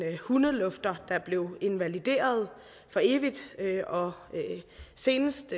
hundelufter der blev invalideret for evigt og senest